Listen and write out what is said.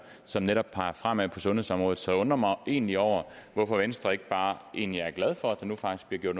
som netop peger fremad på sundhedsområdet så jeg undrer mig egentlig over hvorfor venstre ikke bare egentlig er glad for at der nu faktisk bliver gjort